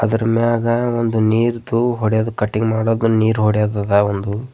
ಅದರ ಮ್ಯಾಗ ಒಂದು ನೀರ್ದು ಹೊಡೆಯದು ಕಟಿಂಗ್ ಮಾಡಾದ್ಮೇಲ್ ನೀರ್ ಹೊಡೆಯದ್ ಅದ ಒಂದು.